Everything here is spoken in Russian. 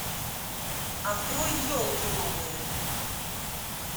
открой елки новые